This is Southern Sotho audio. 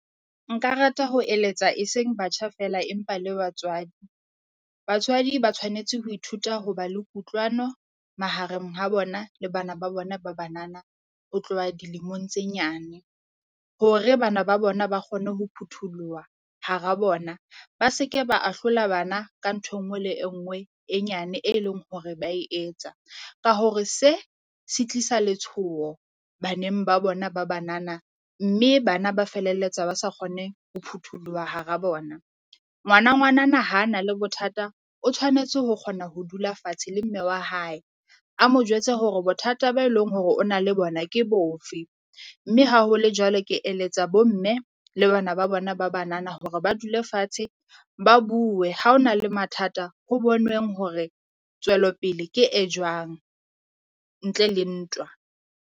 Nka rata ho eletsa e seng batjha feela empa le batswadi, batswadi ba tshwanetse ho ithuta ho ba le kutlwano mahareng ha bona le bana ba bona ba banana ho tloha dilemong tse nyane. Hore bana ba bona ba kgone ho phutholoha hara bona ba se ke ba ahlola bana ka ntho e nngwe le e nngwe e nyane e leng hore ba e etsa. Ka hore se se tlisa letshoho baneng ba bona ba banana mme bana ba feleletsa ba sa kgone ho phutholoha hara bona. Ngwana ngwanana ha na le bothata o tshwanetse ho kgona ho dula fatshe le mme wa hae, a mo jwetse hore bothata ba e leng hore o na le bona ke bofe, mme ha hole jwalo. Ke eletsa bo mme le bana ba bona ba banana hore ba dule fatshe, ba bue. Ha o na le mathata ho bonweng hore tswelopele ke e jwang ntle le ntwa.